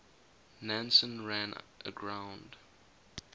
nansen ran aground